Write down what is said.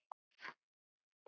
Þetta hefðu ekki allir gert.